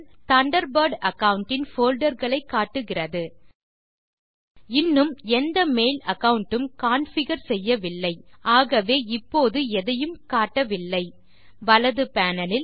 Thunderbird account இன் folder களை காட்டுகிறது இன்னும் எந்த மெயில் அகாவுண்ட் உம் கான்ஃபிகர் செய்யவில்லை ஆகவே இப்போது எதையும் காட்டவில்லை வலது பேனல் இல்